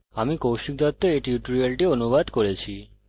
আমি কৌশিক দত্ত এই টিউটোরিয়ালটি অনুবাদ করেছি